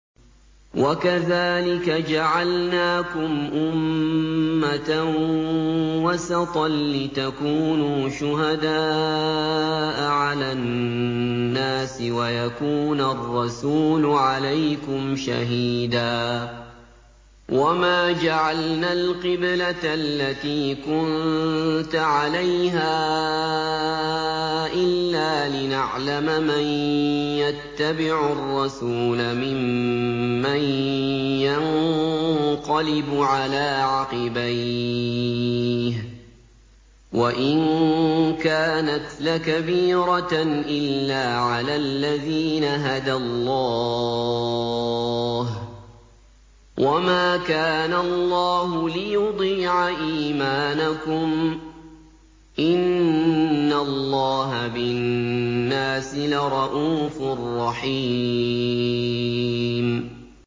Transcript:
وَكَذَٰلِكَ جَعَلْنَاكُمْ أُمَّةً وَسَطًا لِّتَكُونُوا شُهَدَاءَ عَلَى النَّاسِ وَيَكُونَ الرَّسُولُ عَلَيْكُمْ شَهِيدًا ۗ وَمَا جَعَلْنَا الْقِبْلَةَ الَّتِي كُنتَ عَلَيْهَا إِلَّا لِنَعْلَمَ مَن يَتَّبِعُ الرَّسُولَ مِمَّن يَنقَلِبُ عَلَىٰ عَقِبَيْهِ ۚ وَإِن كَانَتْ لَكَبِيرَةً إِلَّا عَلَى الَّذِينَ هَدَى اللَّهُ ۗ وَمَا كَانَ اللَّهُ لِيُضِيعَ إِيمَانَكُمْ ۚ إِنَّ اللَّهَ بِالنَّاسِ لَرَءُوفٌ رَّحِيمٌ